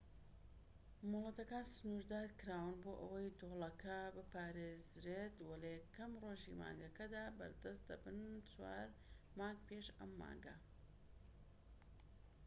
مۆڵەتەکان سنوردارکراون بۆ ئەوەی دۆڵەکە بپارێزرێت وە لە یەکەم ڕۆژی مانگەکەدا بەردەست دەبن چوار مانگ پێش ئەم مانگە